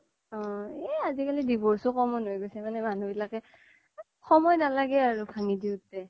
এ আজিকালি divorce ও common হয় গৈছে মানে মানুহ বিলাকে সময় নালাগে আৰু ভানগি ভাঙি দিওতে